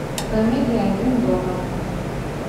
комедия один дома